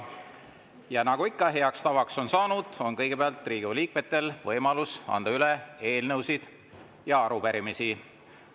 Ja nagu heaks tavaks on saanud, on kõigepealt Riigikogu liikmetel võimalus anda üle eelnõusid ja arupärimisi.